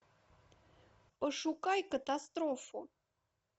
пошукай катастрофу